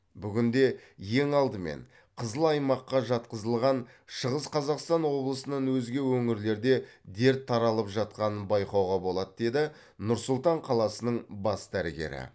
бүгінде ең алдымен қызыл аймаққа жатқызылған шығыс қазақстан облысынан өзге өңірлерде дерт таралып жатқанын байқауға болады деді нұр сұлтан қаласының бас дәрігері